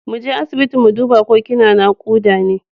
Mu je asibiti mu duba ko kina nakuda ne.